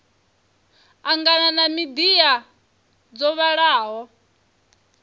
angana ha midia dzo vhalaho